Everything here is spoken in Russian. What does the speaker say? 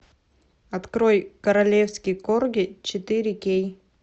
открой королевский корги четыре кей